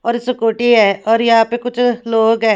और स्कूटी है और यहां पे कुछ लोग हैं।